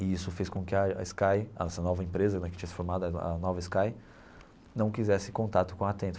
E isso fez com que a a Sky, essa nova empresa né que tinha se formado, a a nova Sky não quisesse contato com a Atento.